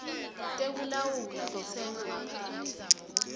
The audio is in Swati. tekulawula kutsenga ngaphandle